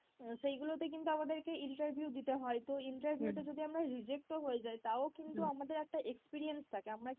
সেইগুলোতে কিন্তু আমাদেরকে interview দিতে হয়, তো interview তে যদি আমরা reject ও হয়ে যাই তাও কিন্তু আমাদের একটা experience থাকে আমরা কিন্তু বারবার